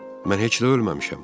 Mən heç də ölməmişəm.